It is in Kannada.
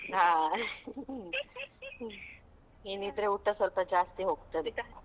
ಹಾ . ಮೀನ್ ಇದ್ರೆ ಊಟ ಸ್ವಲ್ಪ ಜಾಸ್ತಿ ಹೋಗ್ತದೆ.